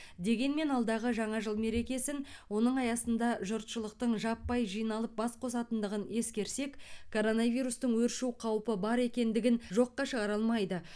дегенмен алдағы жаңа жыл мерекесін оның аясында жұртшылықтың жаппай жиналып бас қосатындығын ескерсек коронавирустың өршу қаупі бар екендігін жоққа шығара алмайды